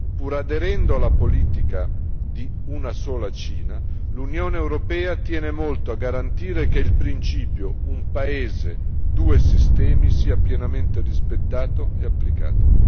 Pur aderendo alla politica di una sola Cina, l'Unione europea tiene molto a garantire che il principio un paese, due sistemi sia pienamente rispettato e applicato.